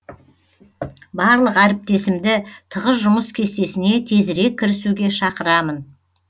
барлық әріптесімді тығыз жұмыс кестесіне тезірек кірісуге шақырамын